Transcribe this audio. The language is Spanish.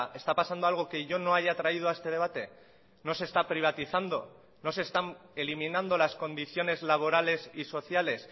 está pasando algo que yo no haya traído a este debate no se está privatizando no se están eliminando las condiciones laborales y sociales